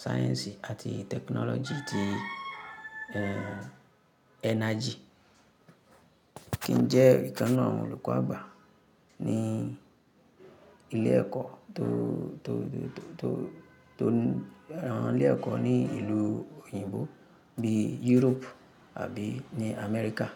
sáyẹ́ǹsì àti tẹkinọ́lọ́jì ti, ẹ́, energy. Kí n jẹ́ ìkan n'nu awon olùkọ́ àgbà ní ilé ẹ̀kọ́ tó, tó, tó, tó, tó, lara awon, ilé ẹ̀kọ́ ní ìlú òyìnbó bí Europe àbí ní America.